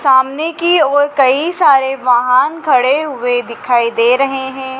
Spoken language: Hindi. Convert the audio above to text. सामने की ओर कहीं सारे वाहन खड़े हुए दिखाई दे रहे है।